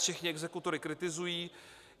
Všichni exekutory kritizují.